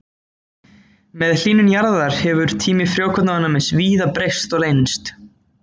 Með hlýnun jarðar hefur tími frjókornaofnæmis víða breyst og lengst.